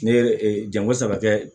Ne ye janko saba kɛ